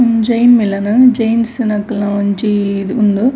ಉಂದು ಜೈನ್ ಮಿಲನ ಜೈನ್ಸ್ ನಕ್ಲನ ಒಂಜೀ ಉಂದು.